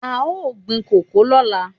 A ó gbin kòkó lọ́la.